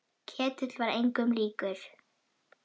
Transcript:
Ketill var engum líkur.